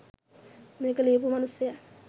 මේක ලියපු මනුස්සයා